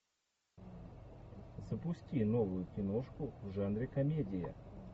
запусти новую киношку в жанре комедия